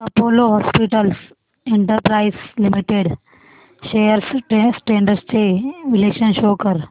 Apollo hospitals enterprise limited shares trends चे विश्लेषण show कर